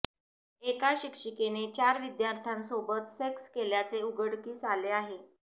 एका शिक्षिकेने चार विद्यार्थ्यासोबत सेक्स केल्याचे उघडकीस आले आहे